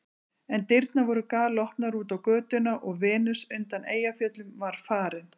En dyrnar voru galopnar út á götuna og Venus undan Eyjafjöllum var farin.